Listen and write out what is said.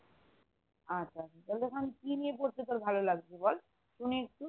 আচ্ছা তাহলে এখন কি নিয়ে পড়তে তোর ভালো লাগছে বল শুনি একটু